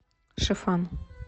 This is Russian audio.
шифан